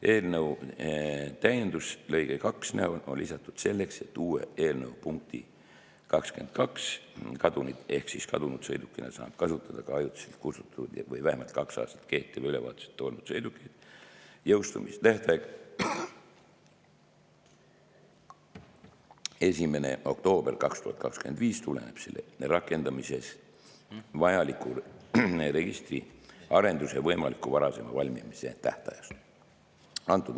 Eelnõu täiendus lõike 2 näol on lisatud selleks, et uue eelnõu punkti 22 – kadunud sõidukina saab kustutada ka ajutiselt kustutatud ja vähemalt kaks aastat kehtiva ülevaatuseta olnud sõidukeid – jõustumistähtaeg 1. oktoober 2025 tuleneb selle rakendamiseks vajaliku registriarenduse võimaliku varaseima valmimise tähtajast.